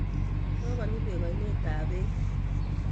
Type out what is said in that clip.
Kokonyi beek ainet tab beek.